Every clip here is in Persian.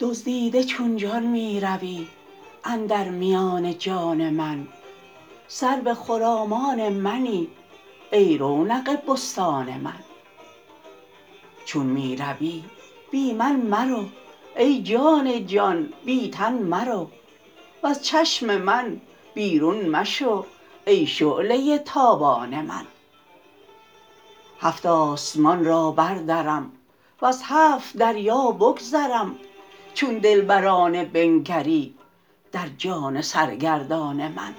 دزدیده چون جان می روی اندر میان جان من سرو خرامان منی ای رونق بستان من چون می روی بی من مرو ای جان جان بی تن مرو وز چشم من بیرون مشو ای شعله ی تابان من هفت آسمان را بردرم وز هفت دریا بگذرم چون دلبرانه بنگری در جان سرگردان من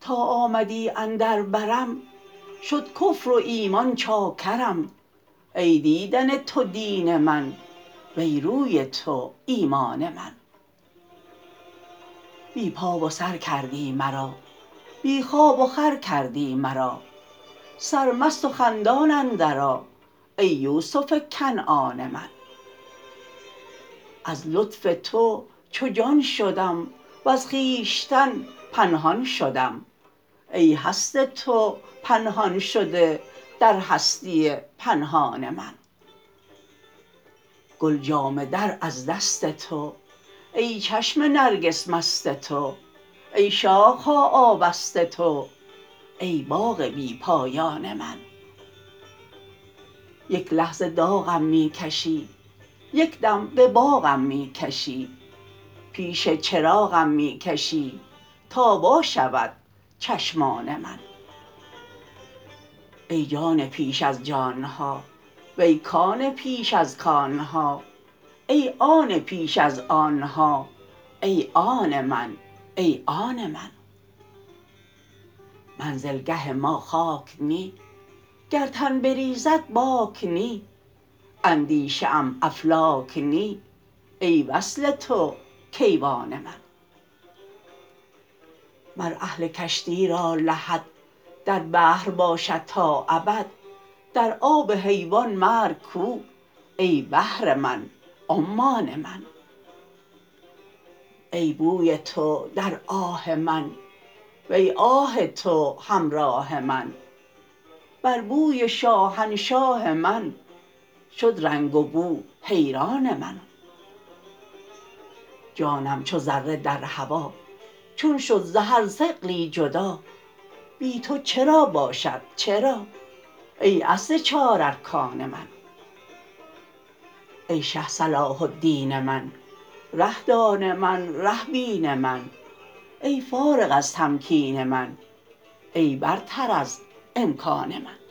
تا آمدی اندر برم شد کفر و ایمان چاکرم ای دیدن تو دین من وی روی تو ایمان من بی پا و سر کردی مرا بی خواب وخور کردی مرا سرمست و خندان اندرآ ای یوسف کنعان من از لطف تو چون جان شدم وز خویشتن پنهان شدم ای هست تو پنهان شده در هستی پنهان من گل جامه در از دست تو ای چشم نرگس مست تو ای شاخ ها آبست تو ای باغ بی پایان من یک لحظه داغم می کشی یک دم به باغم می کشی پیش چراغم می کشی تا وا شود چشمان من ای جان پیش از جان ها وی کان پیش از کان ها ای آن پیش از آن ها ای آن من ای آن من منزلگه ما خاک نی گر تن بریزد باک نی اندیشه ام افلاک نی ای وصل تو کیوان من مر اهل کشتی را لحد در بحر باشد تا ابد در آب حیوان مرگ کو ای بحر من عمان من ای بوی تو در آه من وی آه تو همراه من بر بوی شاهنشاه من شد رنگ وبو حیران من جانم چو ذره در هوا چون شد ز هر ثقلی جدا بی تو چرا باشد چرا ای اصل چار ارکان من ای شه صلاح الدین من ره دان من ره بین من ای فارغ از تمکین من ای برتر از امکان من